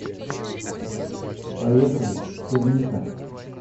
поехали черника